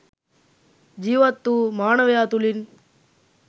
ජීවත්වූ මානවයා තුළින්